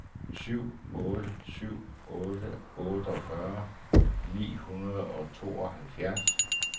syv otte syv otte otteogfyrre ni hundrede og tooghalvfjerds